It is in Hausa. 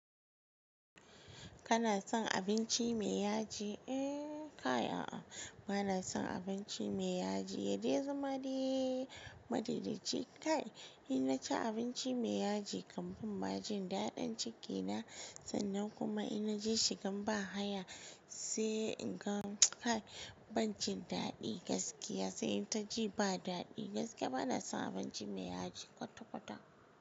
Kana son abinci mai yaji? Eh kay, a'a bana son abinci mai yaji. Ya de zama made? Ma daedae ci kay. In naci abinci mai yaji kam banma jin daɗin cikina sannan kuma ina je shigan ba haya sai in ga kay, ban jin daɗi gaskiya sai ta ji ba daɗi gaskiya bana son abinci mai yaji kwata-kwata.